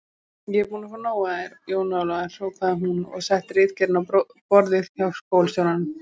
Ég er búin að fá nóg af þér, Jón Ólafur hrópaði hún og setti ritgerðina á borðið hjá skólastjóranum.